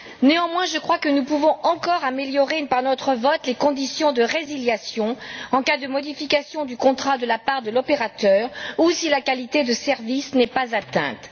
Néanmoins, je crois que nous pouvons encore améliorer par notre vote les conditions de résiliation en cas de modification du contrat de la part de l'opérateur ou si la qualité du service n'est pas atteinte.